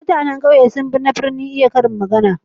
Mutanan kauye sun fi na birni iya karin magana.